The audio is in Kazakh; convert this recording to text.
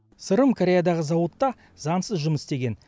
сырым кореядағы зауытта заңсыз жұмыс істеген